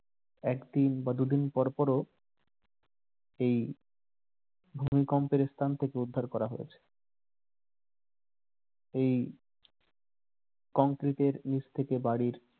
একদিন বা দুদিন পরপরও এই ভূমিকম্পের স্থান থেকে উদ্ধার করা হয়েছে এই কংক্রিটের নিচ থেকে বাড়ির